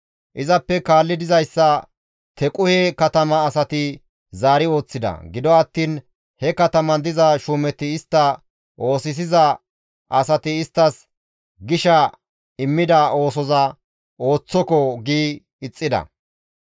Izappe kaalli dizayssa Tequhe katama asati zaari ooththida; gido attiin he kataman diza shuumeti istta oosisiza asati isttas gisha immida oosoza, «Ooththoko!» gi ixxida.